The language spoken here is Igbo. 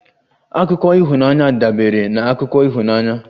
Akụkọ ịhụnanya dabeere na akụkọ ịhụnanya